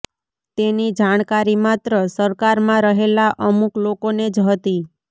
તેની જાણકારી માત્ર સરકારમાં રહેલા અમુક લોકોને જ હતી